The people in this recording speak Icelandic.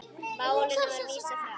Málinu var vísað frá.